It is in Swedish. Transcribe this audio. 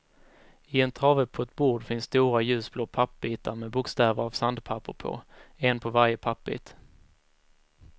I en trave på ett bord finns stora ljusblå pappbitar med bokstäver av sandpapper på, en på varje pappbit.